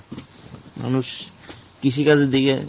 মানুষ কৃষি কাজের দিকে